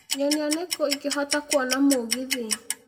nyonia nĩkũ ingĩhota kũona mũgithi